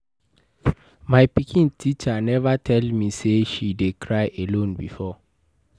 My pikin teacher never tell me say she dey cry alone before